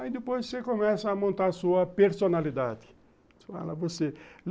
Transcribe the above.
Aí depois você começa a montar a sua personalidade.